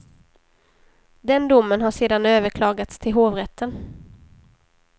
Den domen har sedan överklagats till hovrätten.